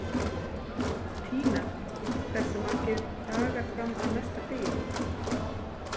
Tína, hversu margir dagar fram að næsta fríi?